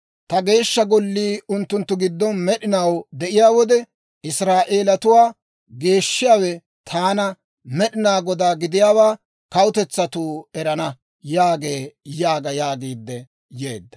Ta Geeshsha Gollii unttunttu giddon med'inaw de'iyaa wode, Israa'eelatuwaa geeshshiyaawe taana, Med'inaa Godaa gidiyaawaa kawutetsatuu erana» yaagee› yaaga» yaagiidde yeedda.